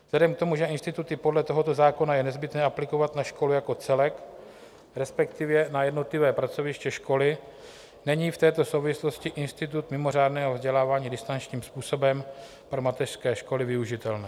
Vzhledem k tomu, že instituty podle tohoto zákona je nezbytné aplikovat na školy jako celek, respektive na jednotlivá pracoviště školy, není v této souvislosti institut mimořádného vzdělávání distančním způsobem pro mateřské školy využitelný.